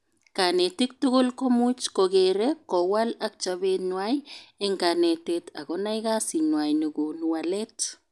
Kanetik tugul komuch kokere, kowal ak chobet nwai eng kanetet ak konai kasit nwai nekonu walet